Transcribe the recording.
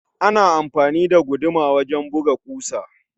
Ana amfani da guduma wajen buga ƙusa